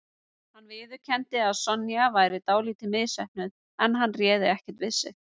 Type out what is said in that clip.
Hann viðurkenndi að Sonja væri dálítið misheppnuð en hann réð ekkert við sig